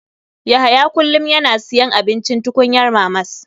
Yahya kullum yana siyan abincin tukunyar mamas.